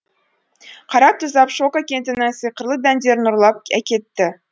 қараб тұзаб шоко кенттің сиқырлы дәндерін ұрлап әкетті